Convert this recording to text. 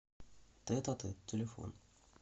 тет а тет телефон